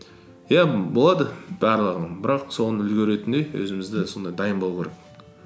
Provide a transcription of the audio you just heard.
иә болады барлығы бірақ соны үлгеретіндей өзімізді сондай дайын болу керек